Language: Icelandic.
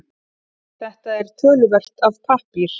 Þetta töluvert af pappír